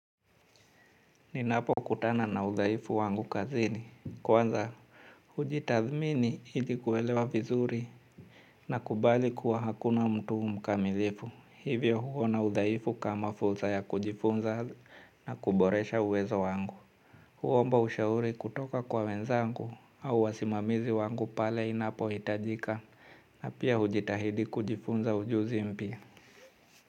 Ninapokutana na udhaifu wangu kazini. Kwanza, hujitathmini ili kuelewa vizuri nakubali kuwa hakuna mtu mkamilifu. Hivyo huona udhaifu kama fursa ya kujifunza na kuboresha uwezo wangu. Huomba ushauri kutoka kwa wenzangu au wasimamizi wangu pale inapohitajika na pia hujitahidi kujifunza ujuzi mpya.